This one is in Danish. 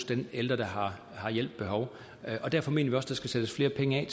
den ældre der har har hjælp behov og derfor mener der skal sættes flere penge